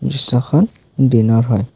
দৃশ্যখন দিনৰ হয়।